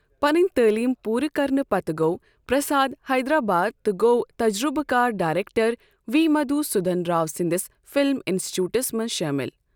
پنٕنۍ تعلیم پوٗرٕ کرنہٕ پتہٕ گوٚو پرساد حیدرآباد تہٕ گوٚو تجربہ کار ڈایرٛیٚکٹر وی مدھوسودھن راو سٕنٛدِس فلم انسچوُٹس منٛز شٲمل۔